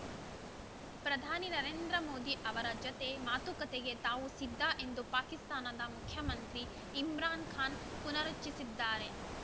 ಪ್ರಧಾನಿ ನರೇಂದ್ರ ಮೋದಿ ಅವರ ಜತೆ ಮಾತುಕತೆಗೆ ತಾವು ಸಿದ್ಧ ಎಂದು ಪಾಕಿಸ್ತಾನದ ಮುಖ್ಯಮಂತ್ರಿ ಇಮ್ರಾನ್‌ ಖಾನ್‌ ಪುನರುಚ್ಚರಿಸಿದ್ದಾರೆ